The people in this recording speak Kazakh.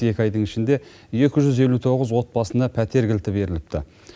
екі айдың ішінде екі жүз елу тоғыз отбасына пәтер кілті беріліпті